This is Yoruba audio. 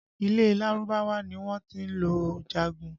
Ilẹ̀ Lárúbáwá ni wọ́n ti lọ jagun